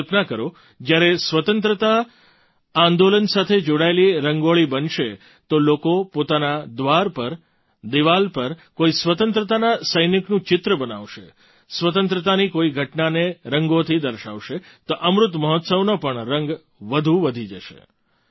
તમે કલ્પના કરો જ્યારે સ્વતંત્રતા આંદોલન સાથે જોડાયેલી રંગોળી બનશે તો લોકો પોતાનાં દ્વાર પર દીવાલ પર કોઈ સ્વતંત્રતાના સૈનિકનું ચિત્ર બનાવશે સ્વતંત્રતાની કોઈ ઘટનાને રંગોથી દર્શાવશે તો અમૃત મહોત્સવનો પણ રંગ વધુ વધી જશે